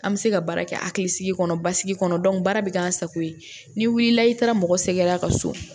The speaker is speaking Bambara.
An bɛ se ka baara kɛ hakilisigi kɔnɔ basigi kɔnɔ baara bɛ kɛ an sago ye n'i wulila i taara mɔgɔ sɛgɛrɛ a ka so